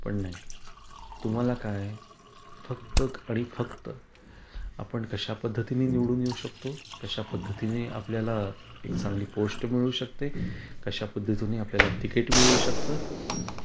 पण नाही तुम्हाला काय फक्त आणि फक्त आपण कश्या पद्धतीने निवडून येऊ शकतो, कश्या पद्धतीने आपल्याला एक चांगली पोस्ट मिळू शकते, कश्या पद्धतीने आपल्याला तिकीट मिळू शकत.